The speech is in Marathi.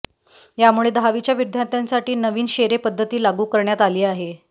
यामुळे दहावीच्या विद्यार्थ्यांसाठी नवीन शेरे पद्धती लागू करण्यात आली होती